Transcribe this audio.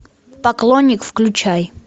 поклонник включай